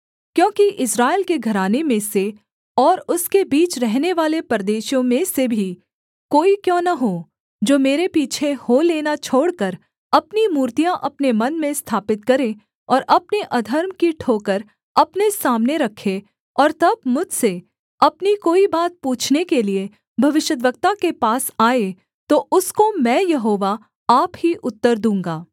क्योंकि इस्राएल के घराने में से और उसके बीच रहनेवाले परदेशियों में से भी कोई क्यों न हो जो मेरे पीछे हो लेना छोड़कर अपनी मूर्तियाँ अपने मन में स्थापित करे और अपने अधर्म की ठोकर अपने सामने रखे और तब मुझसे अपनी कोई बात पूछने के लिये भविष्यद्वक्ता के पास आए तो उसको मैं यहोवा आप ही उत्तर दूँगा